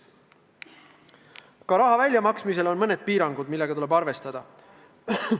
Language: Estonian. Ka raha väljamaksmisel on mõned piirangud, millega tuleb arvestada.